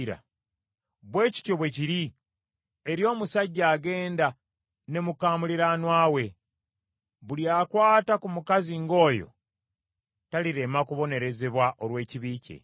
Bwe kityo bwe kiri eri omusajja agenda ne muka muliraanwa we, buli akwata ku mukazi ng’oyo talirema kubonerezebwa olw’ekibi kye.